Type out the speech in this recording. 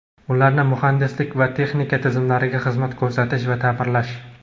ularni muhandislik-texnik tizimlariga xizmat ko‘rsatish va taʼmirlash.